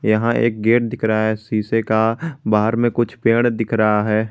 यहां एक गेट दिख रहा है शीशे का बाहर में कुछ पेड़ दिख रहा है।